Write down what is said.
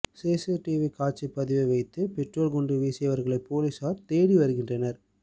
CCTV காட்சி பதிவை வைத்து பெட்ரோல் குண்டு வீசியவர்களை போலீஸார் தேடிவருகின்றனர்